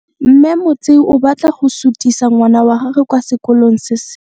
Mme Motsei o batla go sutisa ngwana wa gagwe kwa sekolong se sengwe.